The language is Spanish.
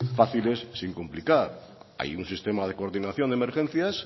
fáciles sin complicar hay un sistema de coordinación de emergencias